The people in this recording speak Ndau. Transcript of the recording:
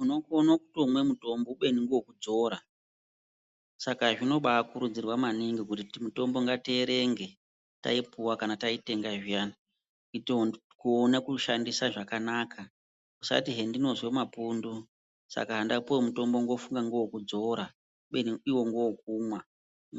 Unokone kutomwa mutombo kubene newekunzvora ,saka zvinobakurudzirwa maningi kuti mutombo ngatierenge taipuhwa kana taitenga zviyani kuona kushandisa zvakanaka ,usati sezvandinonzwa mapundu saka ndapuhwa mutombo ndofunga newekunzvowa kubene iwo newe kunwa